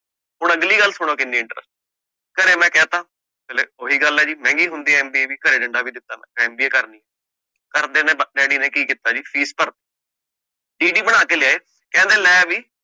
ਹੁਣ ਅਗਲੀ ਗੱਲ ਸੁਣੋ ਕੀਨੀ interesting ਘਰੇ ਮੈ ਕਹਤਾ, ਓਹੀ ਗੱਲ ਹੈ ਜੀ ਮਹਿੰਗੀ ਹੁੰਦੀ ਆ MBA ਵੀ, ਘਰੇ ਡੰਡਾ ਵੀ ਦਿਤਾ ਹੋਯਾ MBA ਕਰਨੀ, ਘਰਦੇਆ ਨੇ ਡੈਡੀ ਨੇ ਕਿ ਕੀਤਾ ਜੀ fees ਭਰਤੀ ਬਣਾ ਕੇ ਲੈ ਆਏ, ਕਹਿੰਦੇ ਲੈ ਵੀ